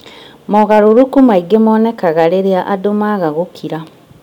Mogarũrũku maingĩ monekaga rĩrĩa andũ maaga gũkira